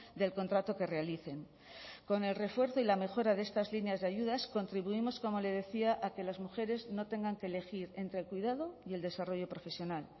del contrato que realicen con el refuerzo y la mejora de estas líneas de ayudas contribuimos como le decía a que las mujeres no tengan que elegir entre el cuidado y el desarrollo profesional